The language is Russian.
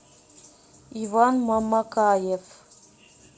иван мамакаев